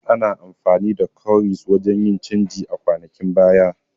Ana amfani da Kowries wajan yin canji a kwanakin baya